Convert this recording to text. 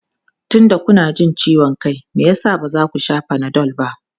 Tunda kuna jin ciwon kai, me yasa ba za ku sha Panadol ba?